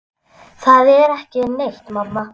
Það er ekki neitt, mamma.